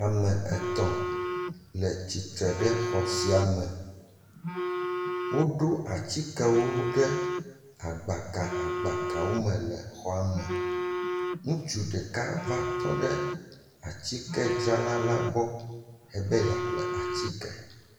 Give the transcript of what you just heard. Tike dzraƒe aɖe nye esia, ŋutsu aɖe va atike ƒle ƒe, atike dzrala ɖeka le atike la kpɔm eye ɖeka hã le atike la dzram.